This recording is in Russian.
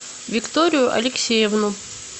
викторию алексеевну